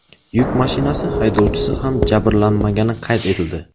Yuk mashinasi haydovchisi ham jabrlanmagani qayd etildi.